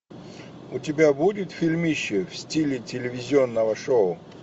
у тебя будет фильмище в стиле телевизионного шоу